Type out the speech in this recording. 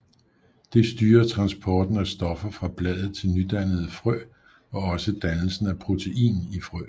Det styrer transporten af stoffer fra bladet til nydannede frø og også dannelsen af protein i frø